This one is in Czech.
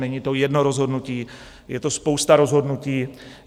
Není to jedno rozhodnutí, je to spousta rozhodnutí.